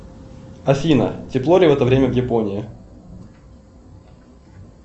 афина тепло ли в это время в японии